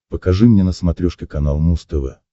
покажи мне на смотрешке канал муз тв